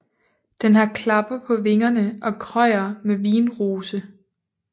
Den har klapper på vingerne og krøjer med vindrose